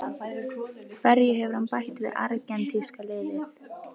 Hverju hefur hann bætt við argentínska liðið?